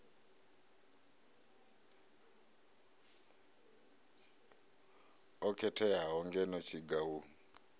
o khetheaho ngeno tshiga hu